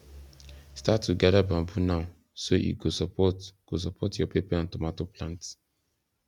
start to gather bamboo now so e go support go support your pepper and tomato plants